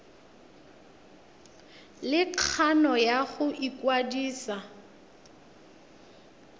le kgano ya go ikwadisa